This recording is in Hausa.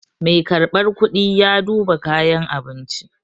Mai karɓar kuɗi ya duba kayan abinci.